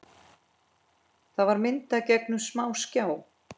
Það var myndað gegnum smásjá.